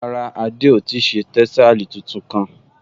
Rárá, Adé ò ti ṣe tẹ́sàlí tuntun kán